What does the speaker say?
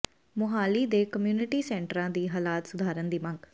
ਮੁਹਾਲੀ ਦੇ ਕਮਿਊਨਿਟੀ ਸੈਂਟਰਾਂ ਦੀ ਹਾਲਤ ਸੁਧਾਰਨ ਦੀ ਮੰਗ